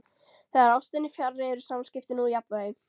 Þegar ástin er fjarri eru samskiptin úr jafnvægi.